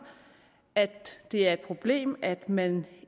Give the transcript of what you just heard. at det er et problem at man